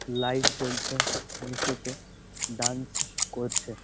Light জ্বলছে নীচেতে dance করছে।